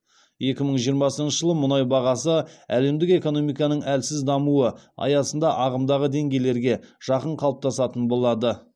екі мың жиырмасыншы жылы мұнай бағасы әлемдік экономиканың әлсіз дамуы аясында ағымдағы деңгейлерге жақын қалыптасатын болады